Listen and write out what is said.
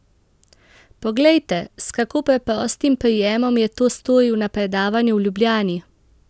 Poglejte, s kako preprostim prijemom je to storil na predavanju v Ljubljani!